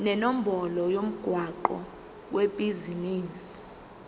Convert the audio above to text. nenombolo yomgwaqo webhizinisi